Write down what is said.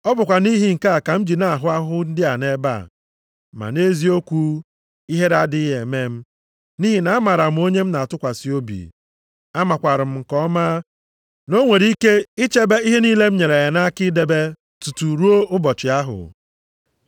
Ọ bụkwa nʼihi nke a ka m ji na-ahụ ahụhụ ndị a nʼebe a, ma nʼeziokwu, ihere adịghị eme m, nʼihi na amaara m onye m na-atụkwasị obi, amakwaara m nke ọma, na o nwere ike ichebe ihe niile m nyere ya nʼaka idebe tutu ruo ụbọchị ahụ.